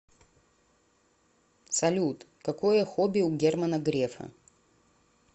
салют какое хобби у германа грефа